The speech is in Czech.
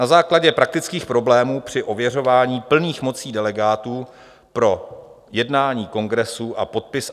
Na základě praktických problémů při ověřování plných mocí delegátů pro jednání kongresu a podpis